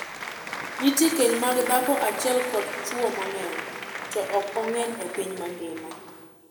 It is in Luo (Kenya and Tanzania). Nitie keny mag dhako achiel kod chwo mang'eny, to ok ong'eny e piny mangima.